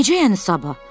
Necə yəni sabah?